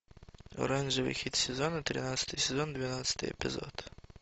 оранжевый хит сезона тринадцатый сезон двенадцатый эпизод